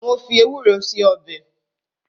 Mo fi ewúro ṣe ọbẹ̀